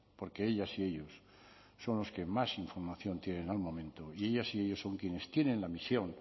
porque ellas y ellos son los que más información tienen al momento y ellas y ellos son quienes tienen la misión